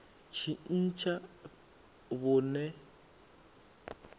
tshintsha vhuṋe kana fhethu zwi